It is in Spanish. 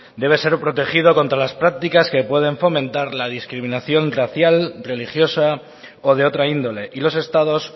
debe ser protegido contra las prácticas que pueden fomentar la discriminación racial religiosa o de otra índole y los estados